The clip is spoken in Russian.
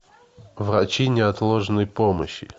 врачи неотложной помощи